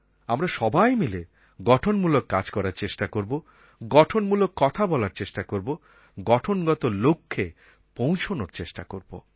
আমরা সবাই মিলে গঠনমূলক কাজ করার চেষ্টা করব গঠনমূলক কথা বলার চেষ্টা করব গঠনগত লক্ষ্যে পৌঁছনোর চেষ্টা করব